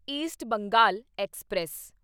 East Bengal express